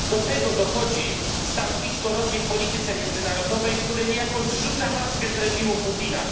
Do tego dochodzi stanowisko Rosji w polityce międzynarodowej, które niejako zrzuca maskę z reżimu Putina.